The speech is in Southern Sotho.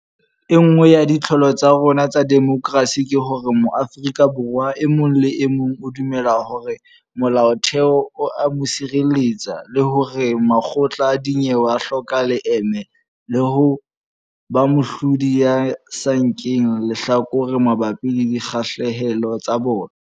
E nngwe ya ditlholo tsa rona tsa demokerasi ke hore Mo-afrika Borwa e mong le e mong o dumela hore Molaotheo o a mo sireletsa le hore makgotla a dinyewe a hloka leeme le ho ba moahlodi ya sa nkeng lehlakore mabapi le dikgahlehelo tsa bona.